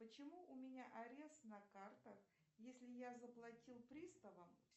почему у меня арест на картах если я заплатил приставам